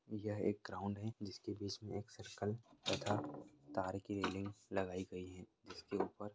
यह एक ग्राउण्ड है जिसके बीच मे एक सरकल तथा तार की रेलिंग लगाई गई है जिसके ऊपर--